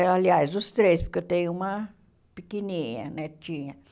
Aliás, os três, porque eu tenho uma pequenininha, netinha.